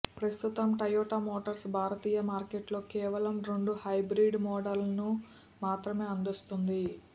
ప్రస్తుతం Toyota Motors భారతీయ మార్కెట్లో కేవలం రెండు హైబ్రిడ్ మోడల్స్ను మాత్రమే అందిస్తోంది